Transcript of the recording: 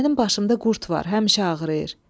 Mənim başımda qurd var, həmişə ağrıyır.